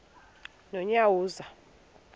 nonyawoza